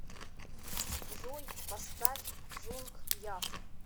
джой поставь джунг яс